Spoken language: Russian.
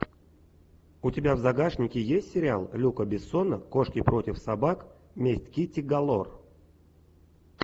у тебя в загашнике есть сериал люка бессона кошки против собак месть китти галор